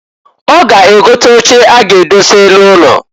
Ọ ga egote oche a ga-edose n'ụlọ.